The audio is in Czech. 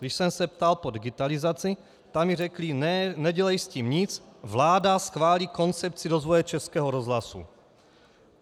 Když jsem se ptal po digitalizaci, tak mi řekli ne, nedělej s tím nic, vláda schválí koncepci rozvoje Českého rozhlasu.